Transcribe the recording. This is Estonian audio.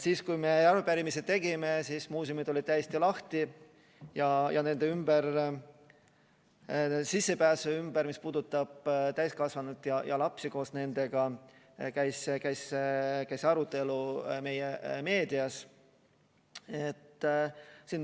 Kui me arupärimise tegime, siis muuseumid olid täiesti lahti ja sissepääsu teemal, mis puudutab täiskasvanuid ja lapsi koos nendega, käis arutelu meie meedias.